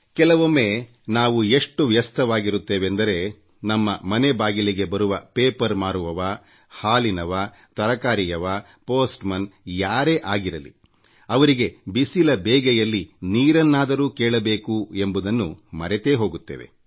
ಕೆಲವೊಮ್ಮೆ ನಾವು ಎಷ್ಟು ಕೆಲಸಕಾರ್ಯದಲ್ಲಿ ತಲ್ಲೀನರಾಗಿರುತ್ತೇವೆ ಎಂದರೆ ನಮ್ಮ ಮನೆ ಬಾಗಿಲಿಗೆ ಬರುವ ಪೇಪರ್ ಹಾಕುವವರಿಗೆ ಹಾಲಿನವರಿಗೆ ತರಕಾರಿ ಮಾರುವವರಿಗೆಅಂಚೆ ಪೇದೆ ಯಾರೇ ಆಗಿರಲಿ ಅವರಿಗೆ ಬೇಸಿಗೆಯ ಈ ಕಾಲದಲ್ಲಿ ನೀರನ್ನಾದರೂ ಕೇಳಬೇಕೆಂಬುದನ್ನು ಮರೆತೇ ಹೋಗುತ್ತೇವೆ